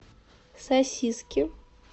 сосиски